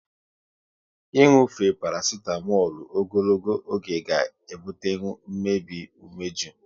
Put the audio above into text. Inufe parasitamolu ogologo oge ga ebutenwu mmebi umeju